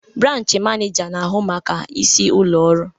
Branchi manija na-ahụ maka isi ụlọ ọrụ.